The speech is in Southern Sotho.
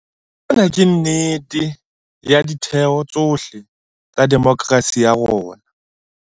Sena ke nnete ka ditheo tsohle tsa demokerasi ya rona.